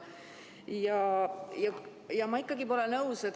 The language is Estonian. Ma pole ikkagi nõus.